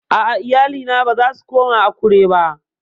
A'a, iyalina ba za su koma Akure ba